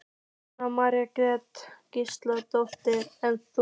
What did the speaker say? Jóhanna Margrét Gísladóttir: En þú?